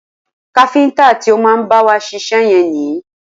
Káfíntà ti o má bá wa ṣiṣẹ́ yẹn ni.